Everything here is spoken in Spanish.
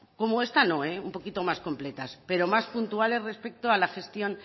como esta no un poquito más completas pero más puntuales respecto a la gestión